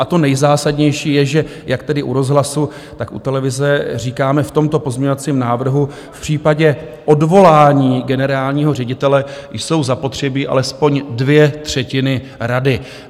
A to nejzásadnější je, že jak tedy u rozhlasu, tak u televize říkáme v tomto pozměňovacím návrhu: v případě odvolání generálního ředitele jsou zapotřebí alespoň dvě třetiny rady.